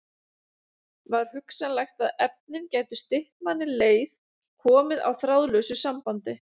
Var hugsanlegt að efnin gætu stytt manni leið, komið á þráðlausu sambandi?